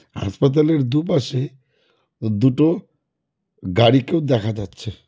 হাসপাতালের দুপাশে দুটো গাড়িকেও দেখা যাচ্ছে।